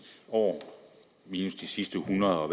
år minus de sidste en hundrede og